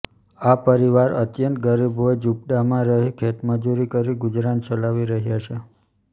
આ પરિવાર અત્યંત ગરીબ હોઇ ઝુંપડામાં રહી ખેતમજૂરી કરી ગુજરાન ચલાવી રહ્યા છે